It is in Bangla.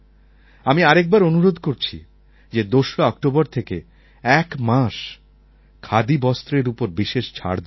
আমি আরেকবার অনুরোধ করছি যে ২রা অক্টোবর থেকে এক মাস খাদি বস্ত্রের উপর বিশেষ ছাড় দেওয়া হয়